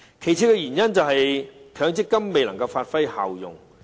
另一原因是強積金未能發揮效用。